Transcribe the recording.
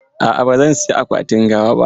A'a, ba zan saya akwatin gawa ba.